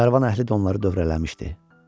Karvan əhli də onları dövrələmişdi.